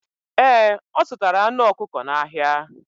Ee, ọ zụtara anụ ọkụkọ n'ahịa.